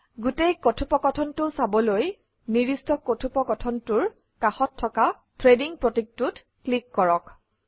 গোটেই কথোপকথনটো চাবলৈ নিৰ্দিষ্ট কথোপকথনটোৰ কাষত থকা থ্ৰেডিং প্ৰতীকটোত ক্লিক কৰক